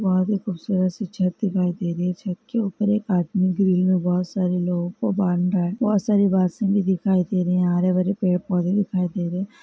बहुत ही खूबसूरत सी छत दिखाई दे रही है छत के ऊपर के आदमी ग्रिल में बहुत सारे को बाँध रहा है बहुत सारी वासिन भी दिखाई दे रही हैं हरे भरे पेड़ पौधे देखे दे रहे हैं।